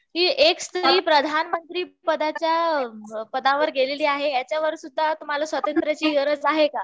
कि एक स्त्री प्रधानमंत्री पदाच्या पदावर गेलेली आहे याच्यावर सुद्धा तुम्हाला स्वातंत्र्याची गरज आहे का?